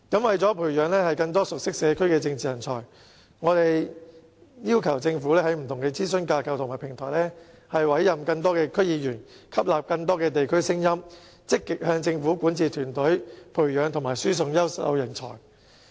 為培養更多熟悉社區的政治人才，我們要求政府在不同的諮詢架構和平台委任更多區議員，以吸納更多地區聲音，並積極向政府管治團體培養及輸送優秀人才。